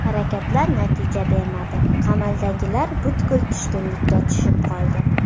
Harakatlar natija bermadi, qamaldagilar butkul tushkunlikka tushib qoldi.